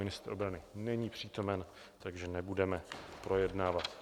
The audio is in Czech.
Ministr obrany není přítomen, takže nebudeme projednávat.